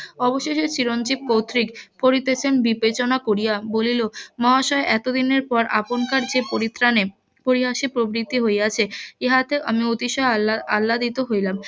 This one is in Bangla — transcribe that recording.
অবশেষে চিরঞ্জিব কর্তৃক . বিবেচনা করিয়া বলিল মহাশয় এতদিনের পর আপনকার যে পরিত্রাণে পরিহাসে প্রবৃদ্ধি হইয়াছে ইহাতে আমি অতিশয় আল্লা~আল্লাদিত হইলাম